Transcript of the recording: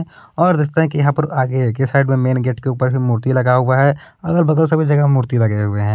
और रस्ता के यहां पर आगे के साइड में मेन गेट के उपर ही मूर्ती लगा हुआ है अगल बगल सभी जगह मूर्ती लगे हुए हैं।